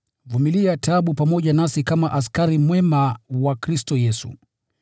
Vumilia taabu pamoja nasi kama askari mwema wa Kristo Yesu.